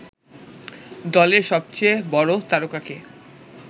দলের সবচেয়ে বড় তারকাকে